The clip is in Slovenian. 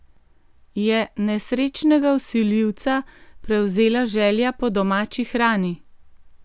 Je nesrečnega vsiljivca prevzela želja po domači hrani?